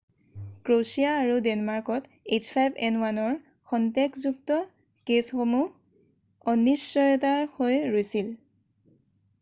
Croatia আৰু ডেনমাৰ্কত h5n1 ৰ সন্দেহযুক্ত কেছসমূহ অনিশ্চয়তা হৈ ৰৈছিল৷